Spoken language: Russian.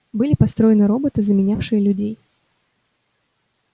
были построены роботы заменявшие людей